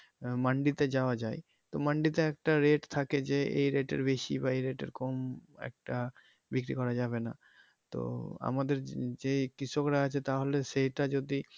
মান্ডিতে যাওয়া যায় তো মান্ডিতে একটা rate থাকে যে এই rate এর বেশি বা এই রেটের কম একটা বিক্রি করা যাবে না তো আমাদের যে কৃষকরা আছে তাহলে সেই টা যদি।